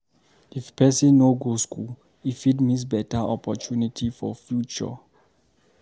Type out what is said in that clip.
If pesin no go school, e fit miss beta opportunity for future.